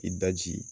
I daji